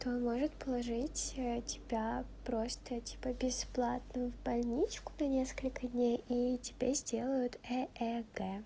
то он может положить тебя просто типа бесплатно в больничку на несколько дней и тебе сделают ээг